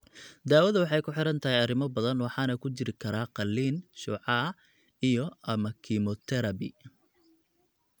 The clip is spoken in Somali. Daawadu waxay ku xidhan tahay arrimo badan waxaana ku jiri kara qaliin, shucaac, iyo/ama kiimoterabi.